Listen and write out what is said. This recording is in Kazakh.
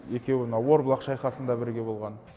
екеуі мына орбұлақ шайқасында бірге болған